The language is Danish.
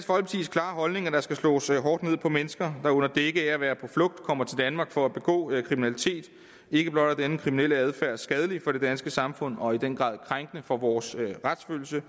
klare holdning at der skal slås hårdt ned på mennesker der under dække af at være på flugt kommer til danmark for at begå kriminalitet ikke blot er denne kriminelle adfærd skadelig for det danske samfund og i den grad krænkende for vores retsfølelse